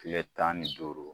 Tile tan ni duuru